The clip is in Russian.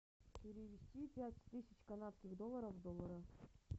перевести пять тысяч канадских долларов в доллары